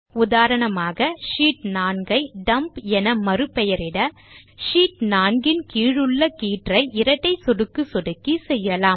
உதாரணமாக ஷீட் 4 ஐ டம்ப் என மறுபெயரிட ஷீட் 4 இன் கீழுள்ள கீற்றை இரட்டை சொடுக்கு சொடுக்கி செய்யலாம்